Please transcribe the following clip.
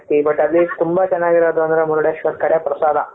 but ಅಲ್ಲಿ ತುಂಬಾ ಚೆನ್ನಾಗಿರೋದು ಅಂದ್ರೆ ಮುರುಡೇಶ್ವರದ ಕಡೆ ಪ್ರಸಾದ.